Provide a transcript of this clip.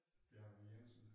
Bjarne Jensen